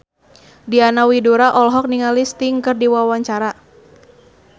Diana Widoera olohok ningali Sting keur diwawancara